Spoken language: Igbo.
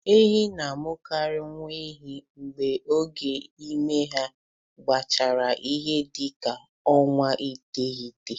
Ehi na-amụkarị nwa ehi mgbe oge ime ha gachara ihe dị ka ọnwa iteghete.